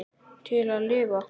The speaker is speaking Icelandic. Til að lifa.